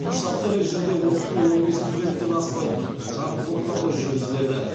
штаттық режимде оқыту он бес студенттен аспайтын шағын топтарда жүргізіледі